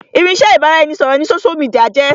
Irinsẹ́ ibà ra ẹni ṣọ̀rọ̀ ni sósú midià jẹ́